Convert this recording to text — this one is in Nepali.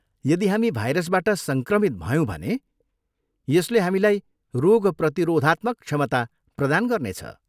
यदि हामी भाइरसबाट सङ्क्रमित भयौँ भने यसले हामीलाई रोग प्रतिरोधात्मक क्षमता प्रदान गर्नेछ।